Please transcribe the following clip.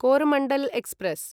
Coromandel express